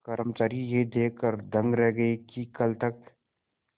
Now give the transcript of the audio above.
कर्मचारी यह देखकर दंग रह गए कि कल तक